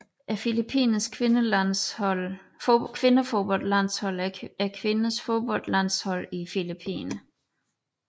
Filippinernes kvindefodboldlandshold er kvindernes fodboldlandshold i Filippinerne